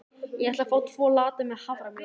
Ég ætla að fá tvo latte með haframjólk.